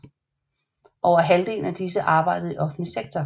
Over halvdelen af disse arbejdede i offentlig sektor